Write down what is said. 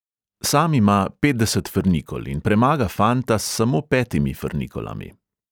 Sam ima petdeset frnikol in premaga fanta s samo petimi frnikolami.